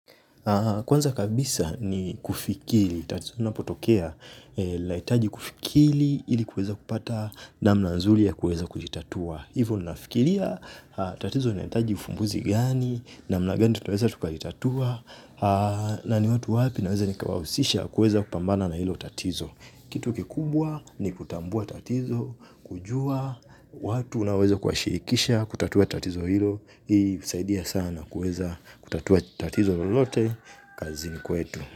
Kwanza kabisa ni kufikili, tatizo unapotokea, lahitaji kufikiri ili kuweza kupata namna nzuri ya kuweza kujitatua. Hivyo ninafikiria tatizo linahitaji ufumbuzi gani, namna gani tutaweza tukalitatua, na ni watu wapi naweza nikawahusisha kuweza kupambana na hilo tatizo. Kitu kikubwa ni kutambua tatizo, kujua, watu unaoweza kuwashirikisha kutatua tatizo hilo, hii husaidia sana kuweza kutatua tatizo lolote kazini kwetu.